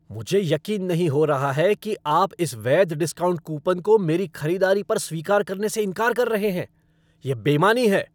मुझे यकीन नहीं हो रहा कि आप इस वैध डिस्काउंट कूपन को मेरी खरीदारी पर स्वीकार करने से इंकार कर रहे हैं। यह बेईमानी है।